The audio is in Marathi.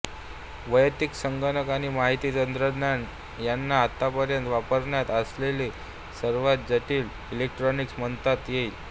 वैयक्तिक संगणक आणि माहिती तंत्रज्ञान यांना आतापर्यंत वापरात असलेले सर्वात जटिल इलेक्ट्रॉनिक्स म्हणता येईल